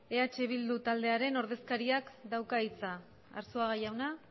eh bildu taldearen ordezkariak dauka hitza arzuaga jauna